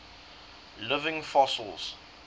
living fossils